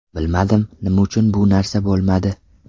Bilmadim, nima uchun bu narsa bo‘lmadi?